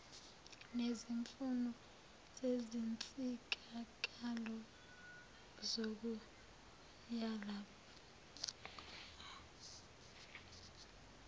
nezimfuno zezinsizakalo zokuvakasha